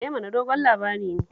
Eh, amma dogon labari ne